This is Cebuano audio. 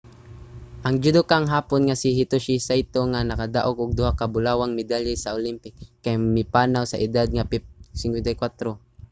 ang judokang hapon nga si hitoshi saito nga nakadaog og duha ka bulawang medalya sa olympic kay mipanaw sa edad nga 54